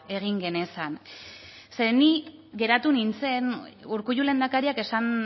egin genezan ze ni geratu nintzen urkullu lehendakariak esan